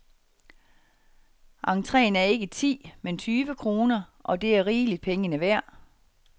Entreen er ikke ti , men tyve kroner, og det er rigeligt pengene værd.